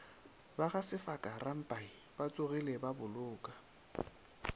ba gasefaka rampai batsogile baboloka